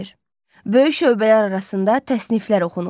Böyük şöbələr arasında təsniflər oxunur.